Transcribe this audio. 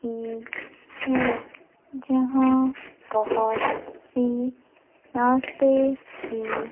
की है जहां बहोत सी नाश्ते की--